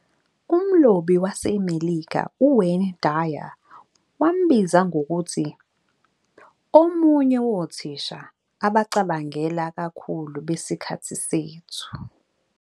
Umlobi waseMelika uWayne Dyer wambiza ngokuthi "omunye wothisha abacabangela kakhulu besikhathi sethu."